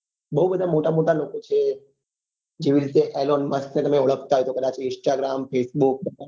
બઉ બધા મોટા મોટા લોકો છે Elon musk ને કદાચ ઓળખાતા હોય તો instagram facebook